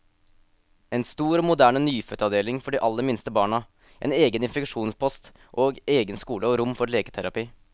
En stor og moderne nyfødtavdeling for de aller minste barna, en egen infeksjonspost, og egen skole og rom for leketerapi.